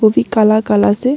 वो भी काला काला से--